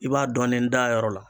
I b'a dɔɔnin da a yɔrɔ la